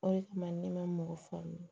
O de kama ne ma mɔgɔ faamu